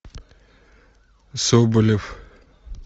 соболев